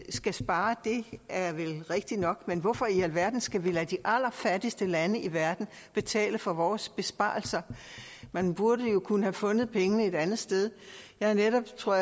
skal spare det er vel rigtigt nok men hvorfor i alverden skal vi lade de allerfattigste lande i verden betale for vores besparelser man burde jo have kunnet fundet pengene et andet sted jeg har netop jeg tror